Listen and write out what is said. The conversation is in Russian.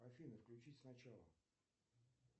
афина включить сначала